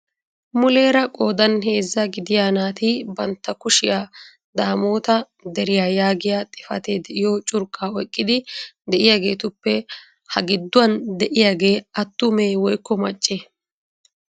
Muleera qoodan heezzaa gidiya naati bantta kushiya Daamota Deriya yaagiya xifatee de'iyo curqqa oyqqidi de'iyaageetuppe ha gidduwan dd'iyaagee attume woykko maccee?